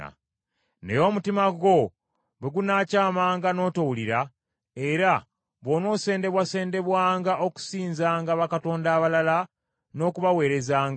Naye omutima gwo bwe gunaakyamanga n’otowulira, era bw’onoosendebwasendebwanga okusinzanga bakatonda abalala n’okubaweerezanga,